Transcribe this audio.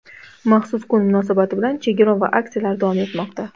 Maxsus kun munosabati bilan chegirma va aksiyalar davom etmoqda.